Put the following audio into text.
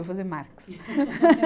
Vai fazer Marx.